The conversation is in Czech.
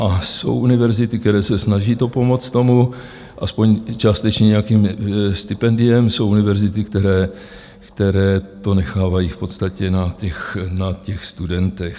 A jsou univerzity, které se snaží pomoct tomu aspoň částečně nějakým stipendiem, jsou univerzity, které to nechávají v podstatě na těch studentech.